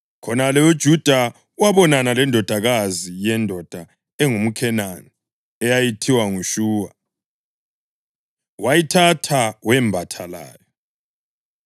Khonale uJuda wabonana lendodakazi yendoda engumKhenani eyayithiwa nguShuwa. Wayithatha wembatha layo;